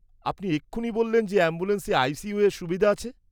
আপনি এক্ষুনি বললেন যে অ্যাম্বুলেন্সে আই.সি.ইউ-এর সুবিধে আছে।